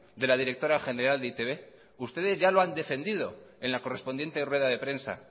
de la directora general de e i te be ustedes ya lo han defendido en la correspondiente rueda de prensa